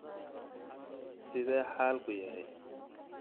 Sidee xaalku yahay?